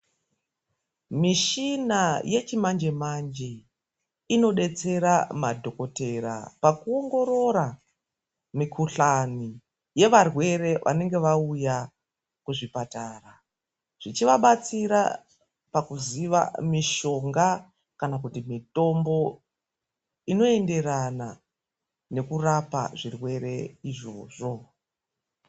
Mishina yechimanje manje ino detsera madhokoteya paku ongorora mikuhlani yevarwere vanenge vauya kuzvibhedhlera zvichivabatsira pakuziva mitombo inoenderana nekurapa zvirwere izvozvo .